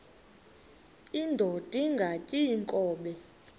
indod ingaty iinkobe